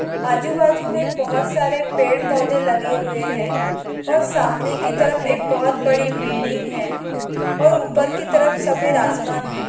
आजू-बाजू मे बहुत सारे पेड पौधे लगे हुए है और सामने की तरफ एक बहुत बड़ी बिल्डिंग है और ऊपर की तरफ सफेद आसमान है।